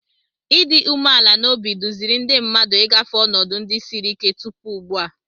Ịdị umeala n'obi duziri ndị mmadụ ị gafe ọnọdụ ndị siri ike tupu ugbu a.